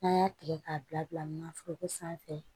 N'an y'a tigɛ k'a bila nanforoko sanfɛ